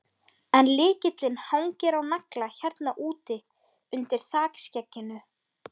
En lykillinn hangir á nagla hérna úti, undir þakskegginu.